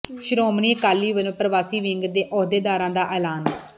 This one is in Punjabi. ਸ਼੍ਰੋੋਮਣੀ ਅਕਾਲੀ ਵੱਲੋਂ ਪ੍ਰਵਾਸੀ ਵਿੰਗ ਦੇ ਅਹੁਦੇਦਾਰਾਂ ਦਾ ਐਲਾਨ